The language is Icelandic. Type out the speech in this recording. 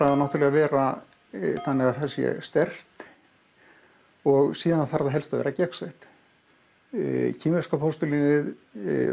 að vera þannig að það sé sterkt og síðan þarf það helst að vera gegnsætt kínverska postulínið